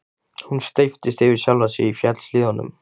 Hún steyptist yfir sjálfa sig í fjallshlíðunum.